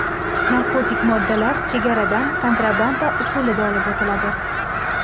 Narkotik moddalar chegaradan kontrabanda usulida olib o‘tiladi.